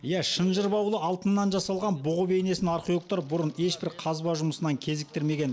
иә шынжыр баулы алтыннан жасалған бұғы бейнесін археологтар бұрын ешбір қазба жұмысынан кезіктірмеген